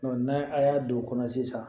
n'a a y'a don o kɔnɔ sisan